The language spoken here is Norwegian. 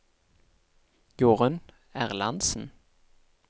Jorunn Erlandsen